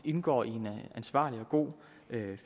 indgå i en ansvarlig og god